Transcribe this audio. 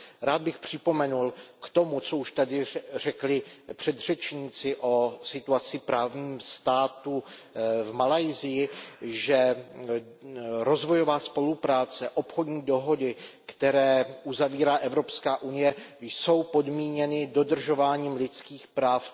Rád bych připomenul k tomu, co už tady řekli předřečníci o situaci právního státu v Malajsii, že rozvojová spolupráce, obchodní dohody, které uzavírá Evropská unie, jsou podmíněny dodržováním lidských práv.